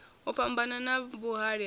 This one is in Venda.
u fhambana na vhuhali ha